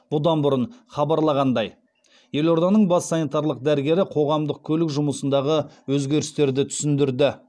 бұдан бұрын хабарланғандай елорданың бас санитарлық дәрігері қоғамдық көлік жұмысындағы өзгерістерді түсіндірді